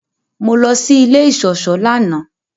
Mọ lọ sí ilẹ̀ iṣọṣọ lánà.